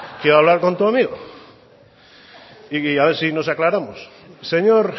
quiero hablar con tu amigo y a ver si no aclaramos señor